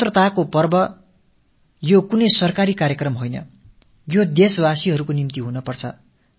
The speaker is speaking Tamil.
சுதந்திரத் திருநாள் என்பது அரசுகளின் நிகழ்ச்சி அல்ல இது நாட்டு மக்களுடையதாக இருக்க வேண்டும்